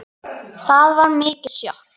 Það var mikið sjokk.